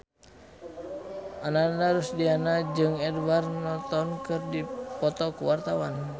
Ananda Rusdiana jeung Edward Norton keur dipoto ku wartawan